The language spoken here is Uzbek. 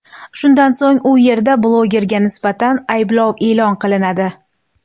Shundan so‘ng u yerda blogerga nisbatan ayblov e’lon qilinadi.